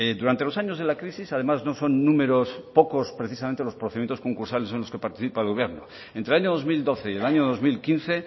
durante los años de la crisis además no son números pocos precisamente los procedimientos concursales en los que participa el gobierno entre el año dos mil doce y el año dos mil quince